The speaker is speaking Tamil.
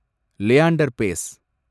லியாண்டர் பேஸ்